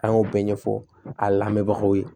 An y'o bɛɛ ɲɛfɔ a lamɛnbagaw ye